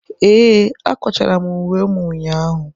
Ee, akwachara m uwe m ụnyahụ.